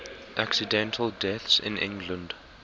accidental deaths in england